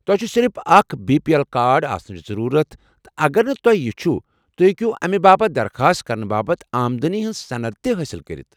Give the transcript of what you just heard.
تُہۍ چھوٕ صرف اكھ بی پی اٮ۪ل کارڈ آسنٕچہِ ضٔروٗرت تہٕ اگر نہٕ تۄہہ یہ چھُ، توہہِ ہیٚکو امہِ باپت درخاست کرنہٕ باپتھ آمدنی ہنز صند تِہ حٲصِل کٔرِتھ ۔